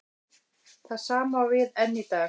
Það sama á við enn í dag.